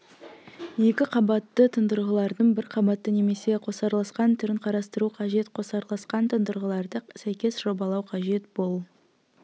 екі қабатты тұндырғылардың бір қабатты немесе қосарласқан түрін қарастыру қажет қосарласқан тұндырғыларды сәйкес жобалау қажет бұл